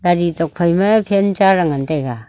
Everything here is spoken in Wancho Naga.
gaari tuak phai ma fan cha ley ngan taiga.